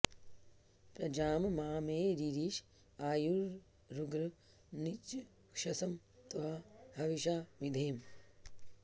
प्र॒जां मा मे॑ रीरिष॒ आयुरुग्र नृचक्ष॑सं त्वा ह॒विषा॑ विधेम